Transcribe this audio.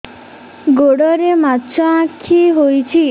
ଗୋଡ଼ରେ ମାଛଆଖି ହୋଇଛି